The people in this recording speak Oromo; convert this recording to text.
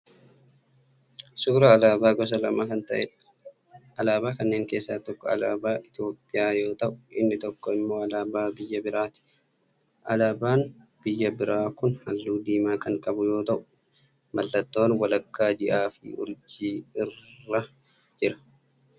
Suuraa alaabaa gosa lama kan ta'eedha. Alaabaa kanneen keessaa tokko alaabaa Itiyoopiyaa yoo ta'u inni tokko immoo alaabaa biyya biraati. Alaabaan biyya biraa kun halluu diimaa kan qabu yoo ta'u mallattoon walakkaa ji'aa fi urjii irra jira.